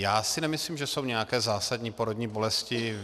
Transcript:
Já si nemyslím, že jsou nějaké zásadní porodní bolesti.